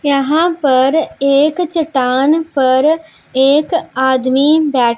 यहां पर एक चट्टान पर एक आदमी बै--